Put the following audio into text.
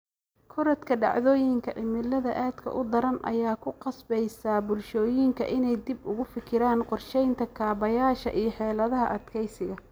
Korodhka dhacdooyinka cimilada aadka u daran ayaa ku qasbaysa bulshooyinka inay dib uga fikiraan qorshaynta kaabayaasha iyo xeeladaha adkeysiga.